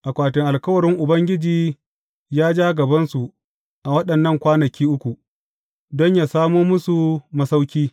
Akwatin alkawarin Ubangiji ya ja gabansu a waɗannan kwanaki uku, don yă samo musu masauƙi.